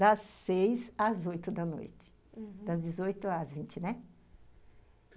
Das seis às oito da noite, uhum, das dezoito às vinte, né?